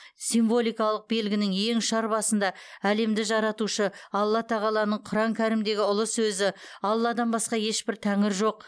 символикалық белгінің ең ұшар басында әлемді жаратушы алла тағаланың құран кәрімдегі ұлы сөзі алладан басқа ешбір тәңір жоқ